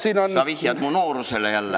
Sa vihjad mu noorusele jälle.